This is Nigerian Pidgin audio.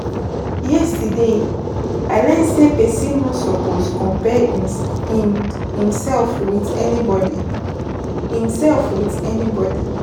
Yesterday, I learn sey pesin no suppose compare em imsef wit anybodi imself wit anybody.